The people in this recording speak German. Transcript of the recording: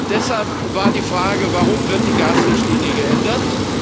Deshalb war die Frage Warum wird die Gasrichtlinie geändert?